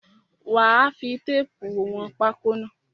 Wà á fi téépù wọn pákó yẹn!